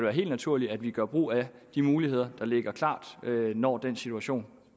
er helt naturligt at vi gør brug af de muligheder der ligger klar når den situation